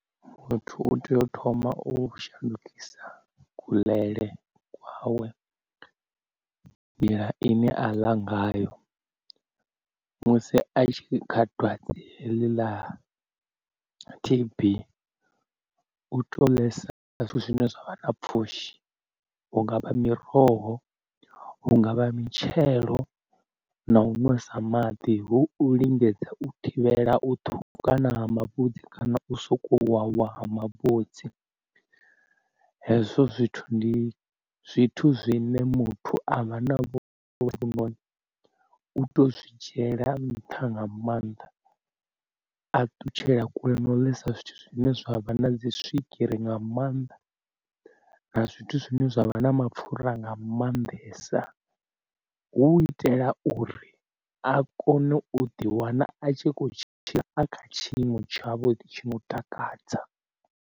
Muthu u tea u thoma u shandukisa kuḽele kwawe, nḓila ine a ḽa ngayo musi a tshi kha dwadze heḽi ḽa T_B u tea u ḽesa zwithu zwine zwavha na pfhushi, hungavha miroho hungavha mitshelo na u ṅwesa maḓi hu u lingedza u thivhela u ṱhukhukana ha mavhudzi kana u soko uwa uwa ha mavhudzi. Hezwo zwithu ndi zwithu zwine muthu avha na vhulwadze hovhu noni u to zwi dzhiela nṱha nga maanḓa a ṱutshela kule na u lisa zwithu zwine zwavha na dzi swigiri nga maanḓa na zwithu zwine zwavha na mapfura nga maanḓesa hu u itela uri a kone u ḓi wana a tshi kho tshila a kha tshiimo tsha vhuḓi tshi no takadza.